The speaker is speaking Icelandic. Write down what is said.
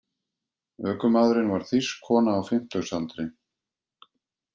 Ökumaðurinn var þýsk kona á fimmtugsaldri